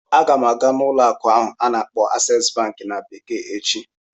Aga m aga n'ụlọ akụ ahụ a na-akpọ "Access bank" na bekee echi